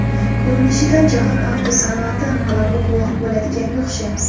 Ko‘rinishidan jahon avtosanoati inqilobi guvohi bo‘ladiganga o‘xshaymiz.